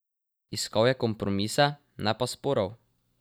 Iskal je kompromise, ne pa sporov.